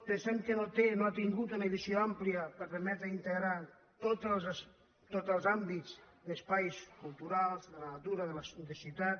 pensem que no ha tingut una visió àmplia per permetre inte·grar tots els àmbits d’espais culturals de la natura de ciutat